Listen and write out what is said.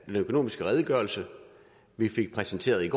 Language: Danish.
økonomiske redegørelse vi fik præsenteret i